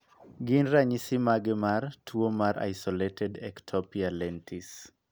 Gin ranyisi mage mar tuo mar Isolated ectopia lentis?